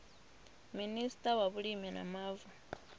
minista wa vhulimi na mavu